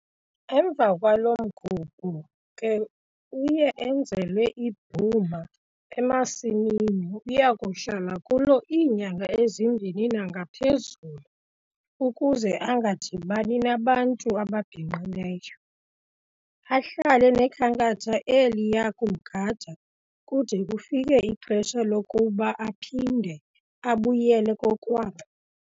Emva kwalo mgubho ke uye enzelwe ibhuma emasimini ayakuhlala kuyo iinyanga ezimbini nangaphezulu ukuze angadibani nabantu ababhinqileyo. Ahlale nekhankatha eliya kumgada kude kufike ixesha lokuba aphinde abuyele kokwabo.